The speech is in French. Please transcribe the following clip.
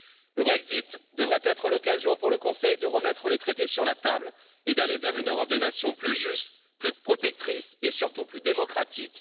Le Brexit devrait être l'occasion, pour le Conseil, de remettre les traités sur la table et d'aller vers une Europe des nations plus juste, plus protectrice et surtout plus démocratique.